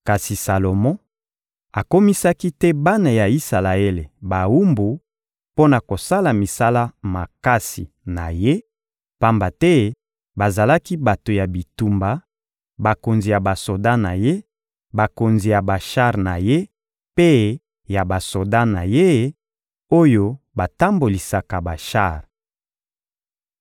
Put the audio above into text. Kasi Salomo akomisaki te bana ya Isalaele bawumbu mpo na kosala misala makasi na ye, pamba te bazalaki bato ya bitumba, bakonzi ya basoda na ye, bakonzi ya bashar na ye mpe ya basoda na ye, oyo batambolisaka bashar.